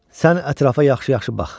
Sən ətrafa yaxşı-yaxşı bax.